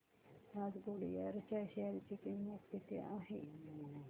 आज गुडइयर च्या शेअर ची किंमत किती आहे